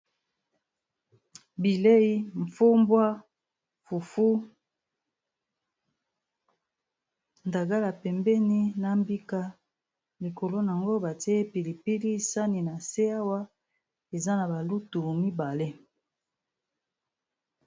Bilei mfumbwa, fufu, ndagala pembeni na mbika likolo nango batie pilipili sani na se awa eza na balutu mibale.